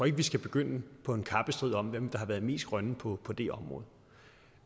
ikke vi skal begynde på en kappestrid om hvem der har været mest grøn på på det område